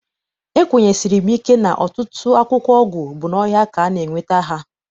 Ekwenyesiri m ike na ọtụtụ akwụkwọ ọgwụ bụ n'ọhịa ka a na- enweta ha.